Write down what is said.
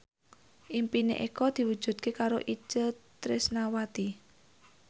impine Eko diwujudke karo Itje Tresnawati